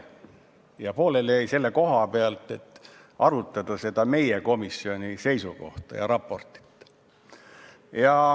Ja pooleli jäi see selle koha pealt, et arutada meie komisjoni seisukohta ja seda raportit.